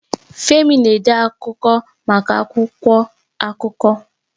Femi na-ede akụkọ maka akwụkwọ akụkọ.